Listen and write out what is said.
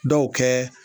Dɔw kɛ